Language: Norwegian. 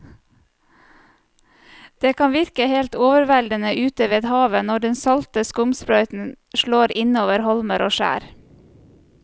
Det kan virke helt overveldende ute ved havet når den salte skumsprøyten slår innover holmer og skjær.